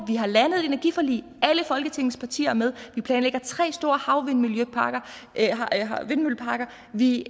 har landet et energiforlig alle folketingets partier er med vi planlægger tre store havvindmølleparker vi